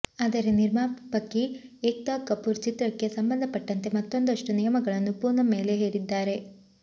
ಆದರೆ ನಿರ್ಮಾಪಕಿ ಏಕ್ತಾ ಕಪೂರ್ ಚಿತ್ರಕ್ಕೆ ಸಂಬಂಧಪಟ್ಟಂತೆ ಮತ್ತೊಂದಷ್ಟು ನಿಯಮಗಳನ್ನು ಪೂನಂ ಮೇಲೆ ಹೇರಿದ್ದಾರೆ